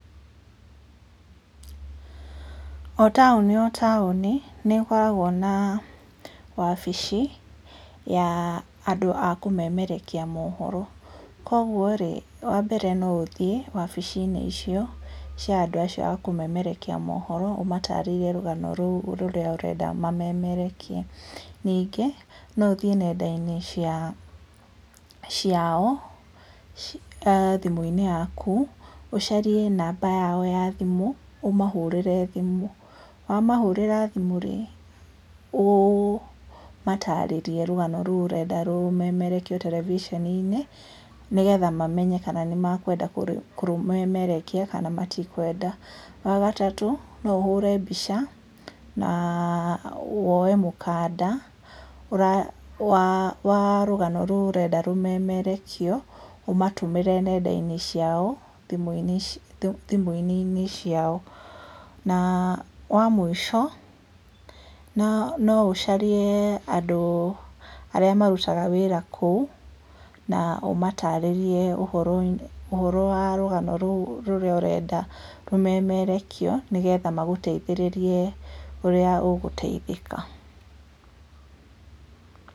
O taũni o taũni, nĩ ĩkoragwo na wabici, ya andũ a kũmemerekia mohoro, koguo rĩ, wa mbere no ũthiĩ wabici-inĩ icio, cia andũ acio a kũmemerekia mohoro, ũmatarĩrie rũgano rũu rũrĩa ũrenda mamerekie, ningĩ no ũthiĩ nenda-inĩ cia ciao, aah thimũ-inĩ yaku, ũcarie namba yao ya thimũ, ũmahũrĩre thimũ, wamahũrĩra thimũ rĩ, ũmatarĩrie rũgano rũu ũrenda rũmemerekio terebiceni-inĩ, nĩ getha mamenye kana nĩ mekwenda kũrũmemerekia, kana matikwenda, wa gatatũ no ũhũre mbica, na woye mũkanda, ũra wa wa rugano rou ũrenda rũmemerekio, ũmatũmĩre nenda-inĩ ciao, thimũ cia thimũinĩinĩ ciao, na wa mũico, na no ũcarie andũ arĩa marutaga wĩra kou, na ũmatarĩrie ũhoroi ũhoro wa rũgano rou rũrĩa ũrenda rũmemerekio nĩgetha magũteithĩrĩrie ũrĩa ũguteithĩka.